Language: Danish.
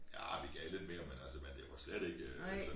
Arh vi gav lidt mere men altså men det var slet ikke så